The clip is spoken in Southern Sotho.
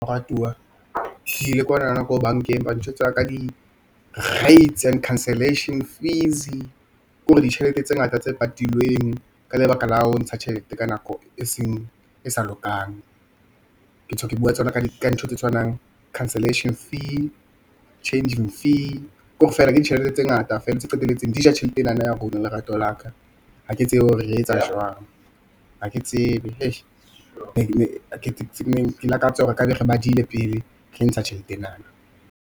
Moratuwa ke ile kwanana ko bankeng ba ntjwetsa ka di-rates and cancelation fees-e ke hore ditjhelete tse ngata tse patilweng ka lebaka la ho ntsha tjhelete ka nako e sa lokang. Ke bua ka tsona ka dintho tse tshwanang le cancelation fee, changing fee kore feela ke ditjhelete tse ngata fela tse qetelletseng di ja tjhelete e nana ya rona lerato laka. Ha ke tsebe hore re etsa jwang ha ke tsebe . Ke lakatsa hore e kabe re badile pele re ntsha tjhelete ena.